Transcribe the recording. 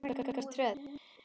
Svanur, lækkaðu í græjunum.